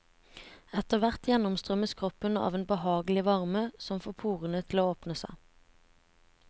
Etterhvert gjennomstrømmes kroppen av en behagelig varme som får porene til å åpne seg.